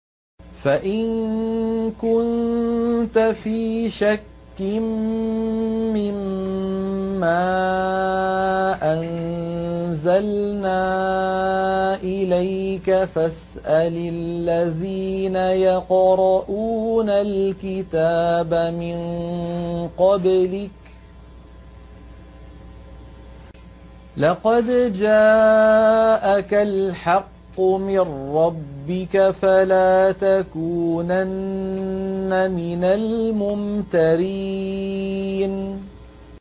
فَإِن كُنتَ فِي شَكٍّ مِّمَّا أَنزَلْنَا إِلَيْكَ فَاسْأَلِ الَّذِينَ يَقْرَءُونَ الْكِتَابَ مِن قَبْلِكَ ۚ لَقَدْ جَاءَكَ الْحَقُّ مِن رَّبِّكَ فَلَا تَكُونَنَّ مِنَ الْمُمْتَرِينَ